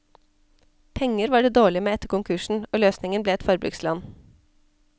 Penger var det dårlig med etter konkursen, og løsningen ble et forbrukslån.